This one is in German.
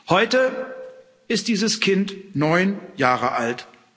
Heute ist dieses Kind neun Jahre alt.